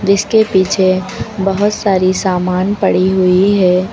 इसके पीछे बहोत सारी सामान पड़ी हुई है।